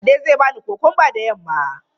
Ade zai bani kokwanba da yamma.